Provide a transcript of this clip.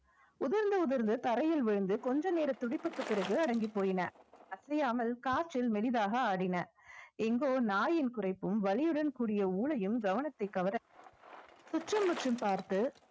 உதிர்ந்து உதிர்ந்து தரையில் விழுந்து கொஞ்ச நேர துடிப்புக்கு பிறகு அடங்கிப் போயின அசையாமல் காற்றில் மெலிதாக ஆடின எங்கோ நாயின் குறைப்பும் வலியுடன் கூடிய ஓளையும் கவனத்தை கவர சுற்றும் முற்றும் பார்த்து